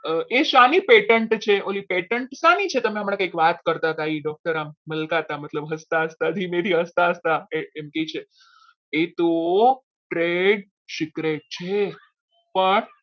એ સાની pattern છે ઓલી pattern શાની છે તમે હમણાં કંઈક વાત કરતા હતા એ doctor આમ મલકાતા મતલબ હસતા હસતા ધીમેથી હસતા હસતા એમ કહે છે એ તો પેટ secret છે પણ